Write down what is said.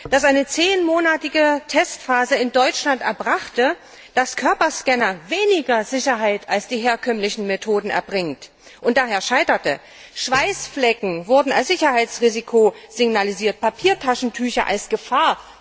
dass eine zehnmonatige Testphase in Deutschland erbrachte, dass Körperscanner weniger Sicherheit als die herkömmlichen Methoden bringen und daher scheiterten. Schweißflecken wurden als Sicherheitsrisiko signalisiert, Papiertaschentücher als Gefahr.